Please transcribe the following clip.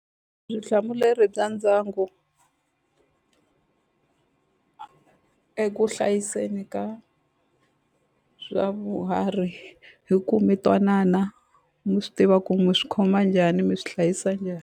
bya ndyangu eku hlayiseni ka hi ku mi twanana mi swi tiva ku mi swi khoma njhani mi swi hlayisa njhani.